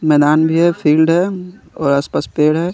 मैदान भी है फिल्ड है और आस पास पेड़ है।